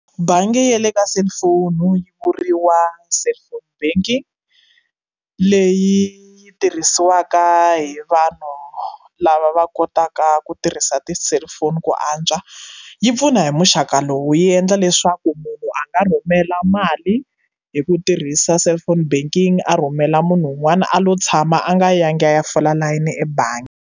Bangi ya le ka cellphone yi vuriwa cellphone banking leyi yi tirhisiwaka hi vanhu lava va kotaka ku tirhisa ti cellphone ku antswa yi pfuna hi muxaka lowu yi endla leswaku munhu a nga rhumela mali hi ku tirhisa cellphone banking a rhumela munhu un'wana a lo tshama a nga yangi a ya fola layeni ebangi.